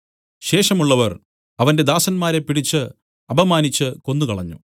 ശേഷമുള്ളവർ അവന്റെ ദാസന്മാരെ പിടിച്ച് അപമാനിച്ചു കൊന്നുകളഞ്ഞു